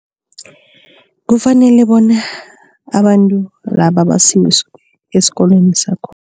Kufanele bona abantu laba basiwe esikolweni sakhona.